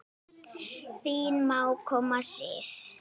Þín mágkona Sif.